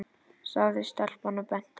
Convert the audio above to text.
sagði stelpan og benti.